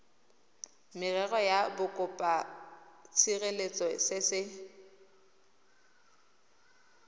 merero ya bokopatshireletso se se